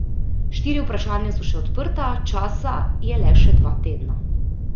Štiri vprašanja so še odprta, časa je le še dva tedna.